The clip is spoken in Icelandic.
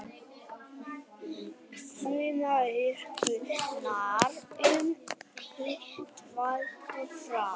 Frumáætlun Orkustofnunar um hitaveitu frá